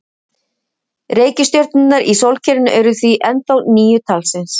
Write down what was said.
Reikistjörnurnar í sólkerfinu eru því ennþá níu talsins.